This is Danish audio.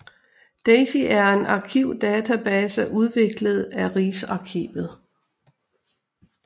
Daisy er en arkivdatabase udviklet af Rigsarkivet